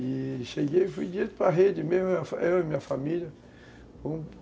E cheguei e fui direto para a rede, eu e minha família.